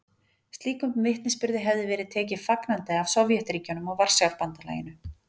Slíkum vitnisburði hefði verið tekið fagnandi af Sovétríkjunum og Varsjárbandalaginu.